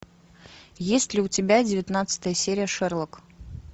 есть ли у тебя девятнадцатая серия шерлок